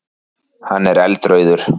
Hann er eldrauður.